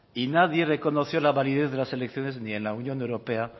y nadie reconoció la validez de las elecciones ni en la unión europea